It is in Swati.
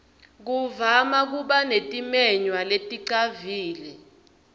kuvama kuba netimenywa leticavile